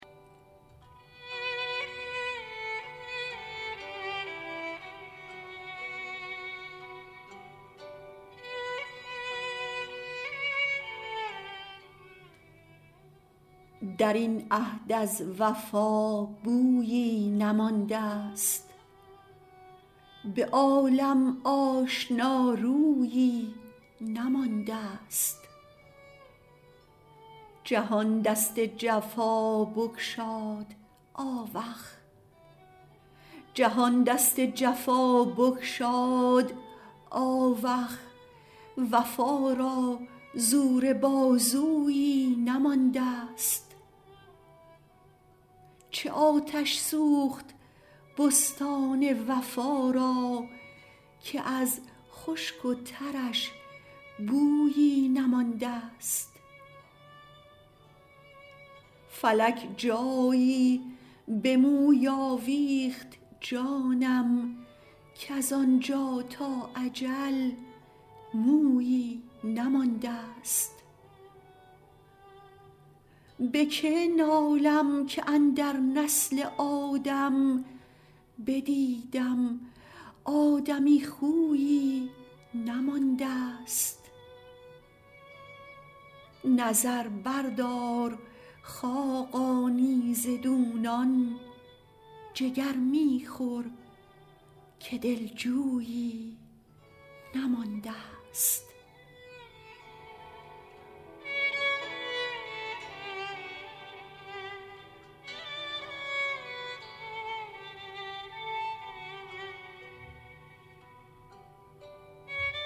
در این عهد از وفا بویی نمانده است به عالم آشنارویی نمانده است جهان دست جفا بگشاد آوخ وفا را زور بازویی نمانده است چه آتش سوخت بستان وفا را که از خشک و ترش بویی نمانده است فلک جایی به موی آویخت جانم کز آنجا تا اجل مویی نمانده است به که نالم که اندر نسل آدم بدیدم آدمی خویی نمانده است نظر بردار خاقانی ز دونان جگر می خور که دلجویی نمانده است